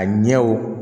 A ɲɛw